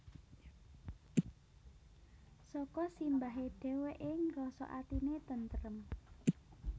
Saka simbahe dheweke ngrasa atine tentrem